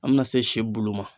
An bɛna se si bulu ma.